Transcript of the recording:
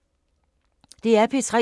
DR P3